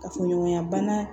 Kafoɲɔgɔnya bana